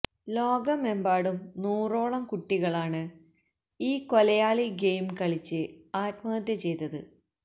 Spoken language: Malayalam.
ലോകമെമ്പാടും നൂറോളം കുട്ടികളാണ് ഈ കൊലയാളി ഗെയിം കളിച്ച് ആത്മഹത്യ ചെയ്തത്